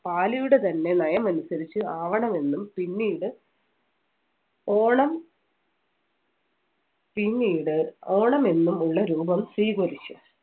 പാലിയുടെ തന്നെ നയം അനുസരിച്ച് ആവണമെന്നും പിന്നീട് ഓണം പിന്നീട് ഓണം എന്നും ഉള്ള രൂപം സ്വീകരിച്ചു.